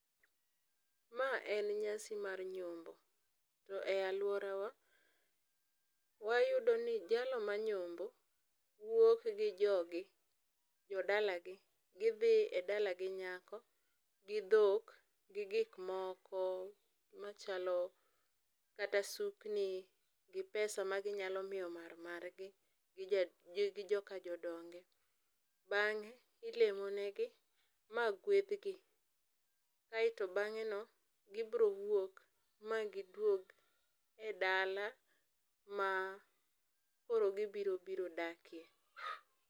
Ma en nyasi mar nyombo. To e alworawa, wayudo ni jalno manyombo, wuok gi jog gi, jo dala gi, gidhi e dala gi nyako, gi dhok, gi gik moko machalo, kata sukni, gi pesa ma ginyalo miyo mar margi, gi joka jodonge. Bang'e, ilemo negi ma gwedhgi. Aeto bang'e no, gibiro wuok ma giduog e dala ma koro gibiro biro dakie.